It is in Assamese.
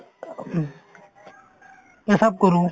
পেচাব কৰো